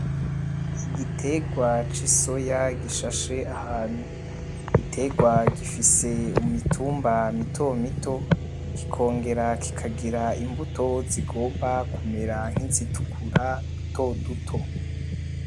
Igitegwa c’isoya gishashe ahantu, igitegwa gifise imitumba mito mito, kikongera kikagira imbuto zigomba kumera nk’izitukura dutoduto.